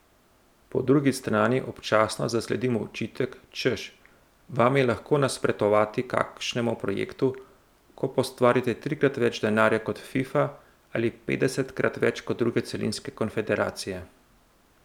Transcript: Po drugi strani občasno zasledim očitek, češ, vam je lahko nasprotovati kakšnemu projektu, ko pa ustvarite trikrat več denarja kot Fifa ali petdesetkrat več kot druge celinske konfederacije.